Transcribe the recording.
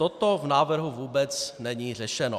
Toto v návrhu vůbec není řešeno.